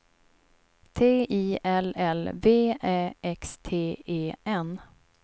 T I L L V Ä X T E N